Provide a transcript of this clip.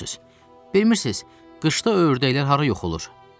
Bilirsiz, qışda ördəklər hara yox olur?